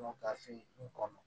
Bɔ gafe in kɔnɔ